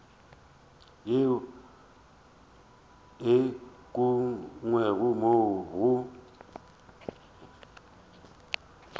yeo e ukangwego mo go